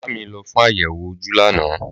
Màámi lo fún àyèwò ojú lánàá